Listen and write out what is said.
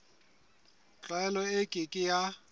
tlwaelo e ke ke ya